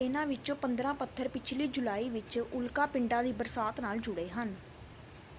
ਇਨ੍ਹਾਂ ਵਿੱਚੋਂ 15 ਪੱਥਰ ਪਿਛਲੀ ਜੁਲਾਈ ਵਿੱਚ ਉਲਕਾ ਪਿੰਡਾਂ ਦੀ ਬਰਸਾਤ ਨਾਲ ਜੁੜੇ ਹਨ।